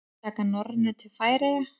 Taka Norrænu til Færeyja?